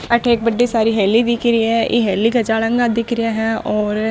अठे एक बड़ी सारी हेली दिख री है ई हेली के जालंगा दिख रिया है और --